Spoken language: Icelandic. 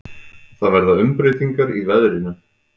Það verða umbreytingar í veðrinu.